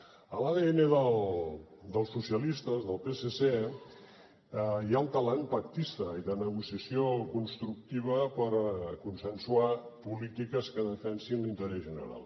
a l’adn dels socialistes del psc hi ha el tarannà pactista i de negociació constructiva per a consensuar polítiques que defensin l’interès general